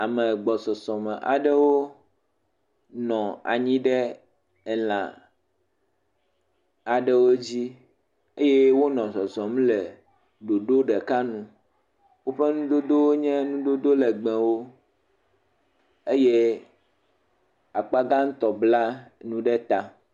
Ame gbɔsɔsɔ me aɖewo nɔ anyi ɖe elã aɖewo dzi eye wonɔ zɔzɔm le ɖoɖo ɖeka nu, woƒe nudodowo nye nudodo legbewo eye akpagãtɔ bla nuɖuɖu ɖe ta.